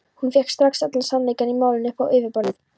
Hún fékk strax allan sannleikann í málinu upp á yfirborðið.